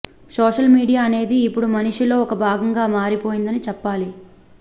social media అనేది ఇప్పుడు మనిషిలో ఒక భాగంగా మారిపోయిందని చెప్పాలి